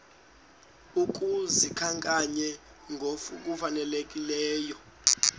ukuba zikhankanywe ngokufanelekileyo